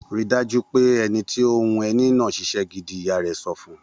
Rí dájú pé ẹni tó ń hun ẹní náà ṣiṣẹ́ gidi! Ìyá rẹ̀ sọ fún un.